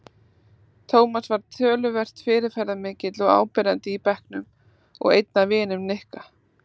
Tómas var töluvert fyrirferðarmikill og áberandi í bekknum og einn af vinum Nikka.